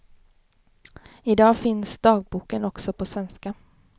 I dag finns dagboken också på svenska.